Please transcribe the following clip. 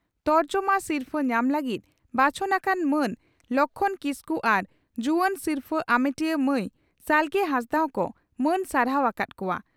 ᱛᱚᱨᱡᱚᱢᱟ ᱟᱥᱤᱨᱯᱷᱟᱹ ᱧᱟᱢ ᱞᱟᱹᱜᱤᱫ ᱵᱟᱪᱷᱚᱱ ᱟᱠᱟᱱ ᱢᱟᱱ ᱞᱚᱠᱷᱢᱚᱬ ᱠᱤᱥᱠᱩ ᱟᱨ ᱡᱩᱣᱟᱹᱱ ᱥᱤᱨᱯᱷᱟᱹ ᱟᱢᱮᱴᱤᱭᱟᱹ ᱢᱟᱹᱭ ᱥᱟᱞᱜᱮ ᱦᱟᱸᱥᱫᱟᱜ ᱦᱚᱸᱠᱚ ᱢᱟᱹᱱ ᱥᱟᱨᱦᱟᱣ ᱟᱠᱟᱫ ᱠᱚᱣᱟ ᱾